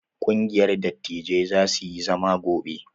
Ƙungiyar dattijai za su yi zama gobe.